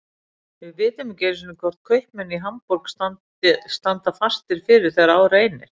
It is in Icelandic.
Við vitum ekki einu sinni hvort kaupmenn í Hamborg standa fastir fyrir þegar á reynir.